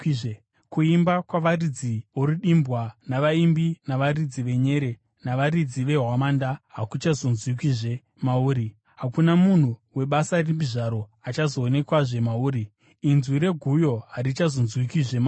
Kuimba kwavaridzi vorudimbwa navaimbi, navaridzi venyere navaridzi vehwamanda, hakuchazonzwikwazve mauri. Hakuna munhu webasa ripi zvaro achazowanikwazve mauri. Inzwi reguyo harichazonzwikwizve mauri.